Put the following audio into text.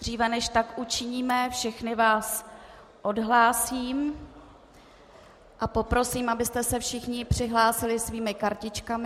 Dříve než tak učiníme, všechny vás odhlásím a poprosím, abyste se všichni přihlásili svými kartičkami.